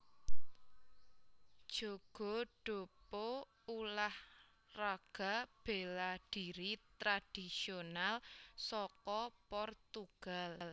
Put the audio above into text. Jogo do pau Ulah raga béla dhiri tradhisional saka Portugal